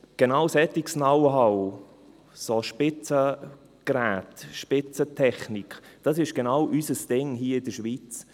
Genau solches Know-how, solche Spitzengeräte, Spitzentechnik, das ist genau unser Ding hier in der Schweiz.